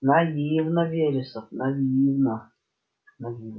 наивно вересов наивно